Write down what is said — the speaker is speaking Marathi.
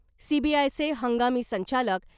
सीबीआयचे हंगामी संचालक .